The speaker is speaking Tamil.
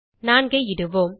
4 ஐ இடுவோம்